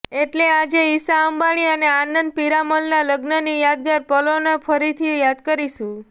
એટલે આજે ઈશા અંબાણી અને આંનદ પીરામલના લગ્નની યાદગાર પલોને ફરીથી યાદ કરીશું